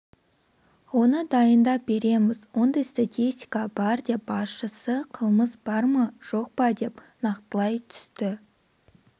оны дайындап береміз ондай статистика бар деп басшысы қылмыс бар ма жоқ па деп нақтылай түсті